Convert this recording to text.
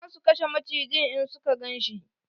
Za su kashe macijin in suka ganshi.